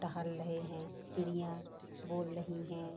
टहल रहे हैं चिड़ियाँ बोल रही हैं।